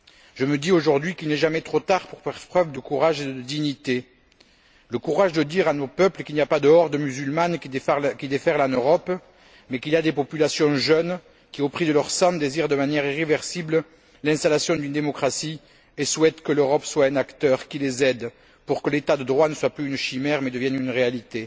Je me dis, aujourd'hui, qu'il n'est jamais trop tard pour faire preuve de courage et de dignité le courage de dire à nos peuples qu'il n'y a pas de horde musulmane qui déferle en Europe, mais qu'il y a des populations jeunes qui, au prix de leur sang, désirent, de manière irréversible, l'installation d'une démocratie, et souhaitent que l'Europe soit un acteur qui les aide pour que l'état de droit ne soit plus une chimère, mais devienne une réalité.